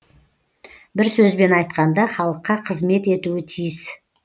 бір сөзбен айтқанда халыққа қызмет етуі тиіс